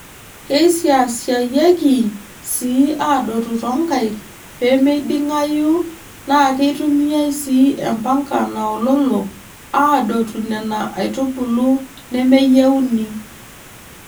Keisiashayieki sii aadotu toonkaik peemiding'ayu naakeitumiyai sii empanka naololo aadotu Nena aitubulu nemeyieuni.